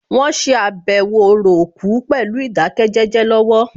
Wọ́n ṣe àbẹ̀wò orò òkú pẹ̀lú ìdákẹ́jẹ́jẹ́ lọ́wọ́